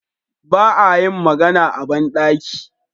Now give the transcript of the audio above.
Ba a yin magana a ban ɗaki.